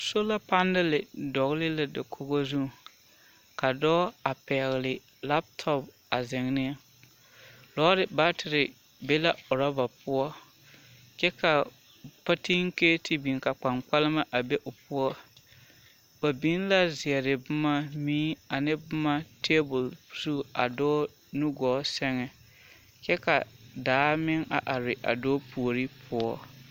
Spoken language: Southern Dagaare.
Sola panele dɔgele la dakogi zuŋ ka dɔɔ a pɛgele lapitɔpi a zeŋ ne, lɔɔre baatere be la orɔba poɔ kyɛ ka patinketi biŋ ka kpaŋkpalema a be o poɔ, ba biŋ la zeere boma mui ane boma teebol zu a dɔɔ nu gɔɔ sɛŋ kyɛ ka daa meŋ a are a dɔɔ puori poɔ.